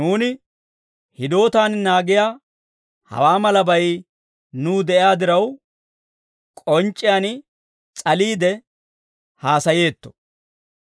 Nuuni hidootaan naagiyaa hawaa malabay nuw de'iyaa diraw, k'onc'c'iyaan s'aliide haasayeetto.